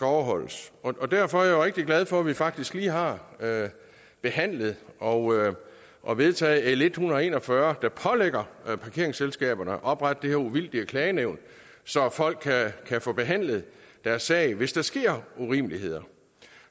overholdes derfor er jeg rigtig glad for at vi faktisk lige har behandlet og og vedtaget l en hundrede og en og fyrre der pålægger parkeringsselskaberne at oprette det her uvildige klagenævn så folk kan få behandlet deres sag hvis der sker urimeligheder